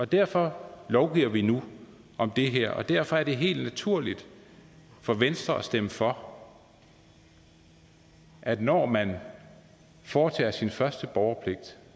derfor lovgiver vi nu om det her og derfor er det helt naturligt for venstre at stemme for at når man foretager sin første borgerpligt